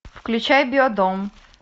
включай биодом